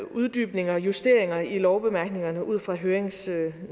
uddybninger og justeringer i lovbemærkningerne ud fra høringsnotatet